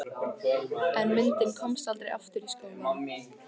En myndin komst aldrei aftur í skólann.